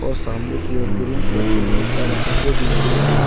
सामने की ओर बहुत सारे ग्रीन कलर के बहुत सारे पर्दे भी लगे हुएं हैं।